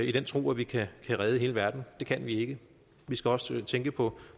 i den tro at vi kan redde hele verden det kan vi ikke vi skal også tænke på